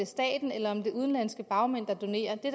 stater eller om det er udenlandske bagmænd der donerer det